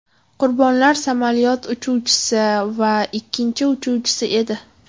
Qurbonlar samolyot uchuvchisi va ikkinchi uchuvchisi edi.